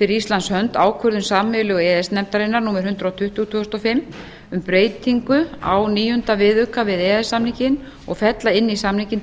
fyrir íslands hönd ákvörðun sameiginlegu e e s nefndarinnar númer hundrað tuttugu tvö þúsund og fimm um breytingu á níunda viðauka við e e s samninginn og fella inn í samninginn